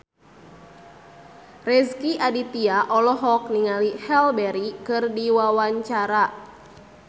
Rezky Aditya olohok ningali Halle Berry keur diwawancara